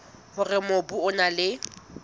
hore mobu o na le